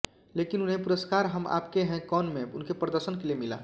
लेकिन उन्हें पुरस्कार हम आपके हैं कौन में उनके प्रदर्शन के लिए मिला